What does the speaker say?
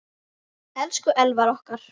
Elsku Elvar okkar.